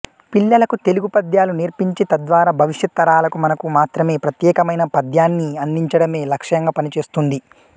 పిల్లలకు తెలుగు పద్యాలు నేర్పించి తద్వారా భవిష్యత్ తరాలకు మనకు మాత్రమే ప్రత్యేకమైన పద్యాన్ని అందించడమే లక్ష్యంగా పని చేస్తోంది